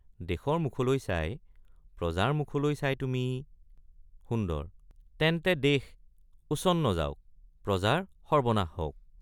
দেশৰ মুখলৈ চাই প্ৰজাৰ মুখলৈ চাই তুমি— সুন্দৰ—তেন্তে দেশ উচ্ছন্ন যাওক প্ৰজাৰ সৰ্ব্বনাশ হওক।